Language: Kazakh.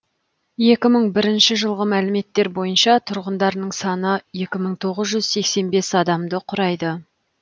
екі мың бірінші жылғы мәліметтер бойынша тұрғындарының саны екі мың тоғыз жүз сексен бес адамды құрайды